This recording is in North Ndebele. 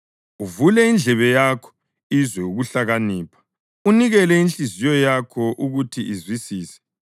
uvule indlebe yakho izwe ukuhlakanipha unikele inhliziyo yakho ukuthi izwisise,